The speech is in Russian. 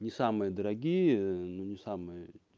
не самые дорогие но не самые